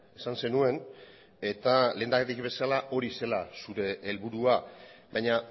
esan zenuen eta lehendakari bezala hori zela zure helburua baina